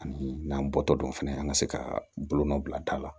Ani n'an bɔtɔ don fana an ka se ka bolonɔ bila da la